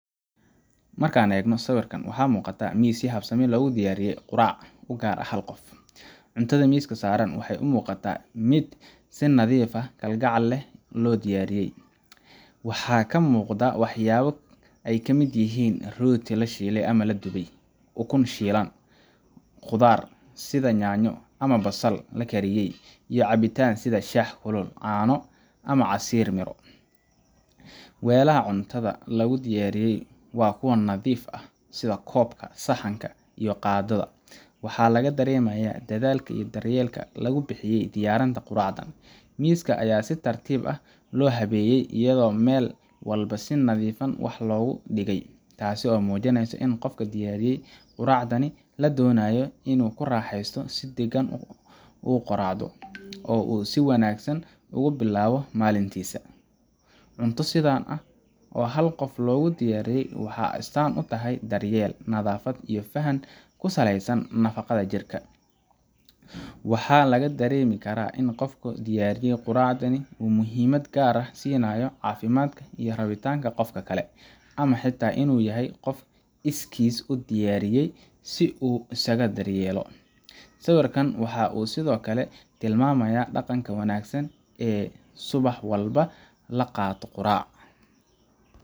Marka aan eegno sawirkan, waxa muuqata miis si habsami leh loogu diyaariyey quraac u gaar ah hal qof. Cuntada miiska saaran waxay u muuqataa mid si nadiif kalgacal leh loo diyaariyey, waxaana ka muuqda waxyaabo ay ka mid yihiin rooti la shiilay ama la dubay, ukun shiilan, khudaar sida yaanyo ama basal la kariyey, iyo cabitaan sida shaah kulul, caano, ama casiir miro. Weelaha cuntada lagu diyaariyey waa kuwo nadiif ah, sida koob, saxan iyo qaaddo, waxaana laga dareemayaa dadaalka iyo daryeelka lagu bixiyey diyaarinta quraacdan. Miiska ayaa si tartiib ah loo habeeyey, iyadoo meel walba si nidifan wax loogu dhigay, taasoo muujinaysa in qofka loo diyaariyey quraacdan la doonayo inuu ku raaxaysto, si degan u qureeco, oo uu si wanaagsan ugu bilaabo maalintiisa. Cunto sidan ah oo hal qof loogu diyaariyey waxay astaan u tahay daryeel, nadaafad, iyo faham ku salaysan nafaqada jirka. Waxaa la dareemi karaa in qofka diyaariyey quraacdan uu muhiimad gaar ah siinayo caafimaadka iyo rabitaanka qofka kale, ama xitaa inuu yahay qof iskiis u diyaariyay si uu isugu daryeelo. Sawirkan waxa uu sidoo kale tilmaamayaa dhaqanka wanaagsan ee ah subax walba la qaato quraac